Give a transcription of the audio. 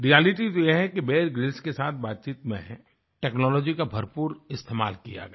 reality तो यह है कि बियर ग्रिल्स के साथ बातचीत में टेक्नोलॉजी का भरपूर इस्तेमाल किया गया